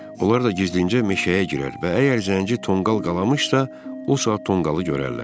Onlar da gizlincə meşəyə girər və əgər zənci tonqal qalamışsa, o saat tonqalı görərlər.